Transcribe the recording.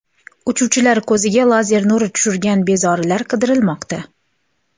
Uchuvchilar ko‘ziga lazer nuri tushirgan bezorilar qidirilmoqda.